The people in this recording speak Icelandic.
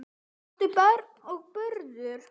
áttu börn og burur